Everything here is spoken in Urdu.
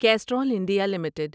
Castrol India limited